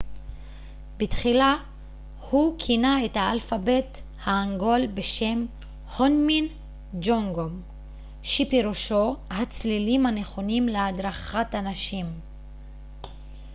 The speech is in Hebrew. בתחילה הוא כינה את האלפבית ההנגול בשם הונמין ג'ונגום שפירושו הצלילים הנכונים להדרכת אנשים